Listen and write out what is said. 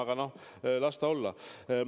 Aga noh, las ta olla.